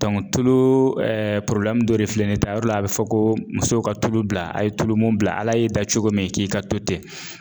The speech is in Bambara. tulu ɛɛ dɔ de filɛ nin ye ta yɔrɔ la a bi fɔ ko musow ka tulu bila a ye tulumun bila Ala y'i da cogo min k'i ka to ten